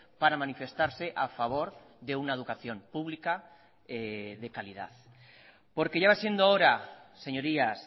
para manifestarse a favor de una educación pública de calidad porque ya va siendo hora señorías